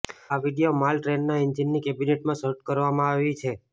આ વીડિયો માલ ટ્રેનના એન્જિનની કેબિનમાં શૂટ કરવામાં આવી છે